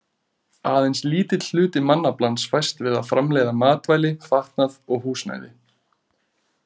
Aðeins lítill hluti mannaflans fæst við að framleiða matvæli, fatnað og húsnæði.